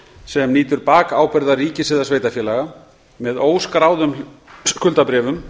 sem nýtur bakábyrgðar ríkis eða sveitarfélaga með óskráðum skuldabréfum